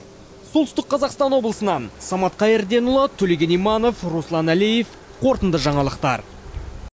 солтүстік қазақстан облысынан самат қайырденұлы төлеген иманов руслан әлиев қорытынды жаңалықтар